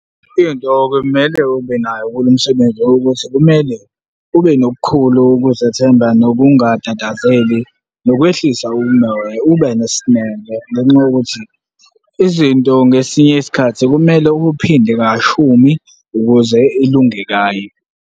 Into okumele ube nayo kulo msebenzi ukuthi kumele ube nokukhulu ukuzethemba nokungatatazeli nokwehlisa umoya, ube nesineke ngenxa yokuthi izinto ngesinye isikhathi kumele ukuphinde kashumi ukuze ilunge kayi.